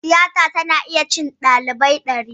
Tiyata tana iya cin ɗalibai ɗari